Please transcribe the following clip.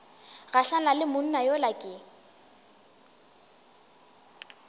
gahlane le monna yola ke